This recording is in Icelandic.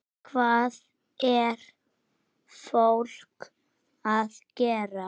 Hvað er fólk að gera?